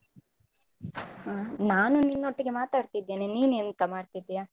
ಹ. ನಾನು ನಿನ್ನೊಟ್ಟಿಗೆ ಮಾತಾಡ್ತಿದ್ದೇನೆ, ನೀನ್ ಎಂತ ಮಾಡ್ತಿದ್ಯಾ?